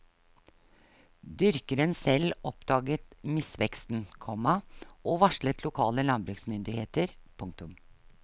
Dyrkeren selv oppdaget misveksten, komma og varslet lokale landbruksmyndigheter. punktum